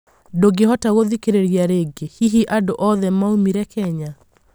ndungĩhota gũthikĩrĩria rĩngĩ, hihi andũ othe maũmirĩ Kenya?